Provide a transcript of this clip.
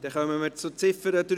Dann kommen wir zur Ziffer 3.